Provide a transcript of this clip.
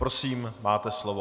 Prosím, máte slovo.